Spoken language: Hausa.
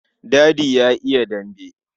Dadi ya yi dambe.